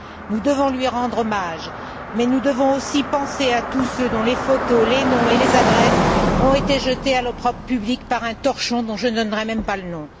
Nous devons lui rendre hommage, mais nous devons aussi penser à tous ceux dont les photos, les noms et les adresses ont été jetés à l'opprobre public par un torchon dont je ne donnerai même pas le nom.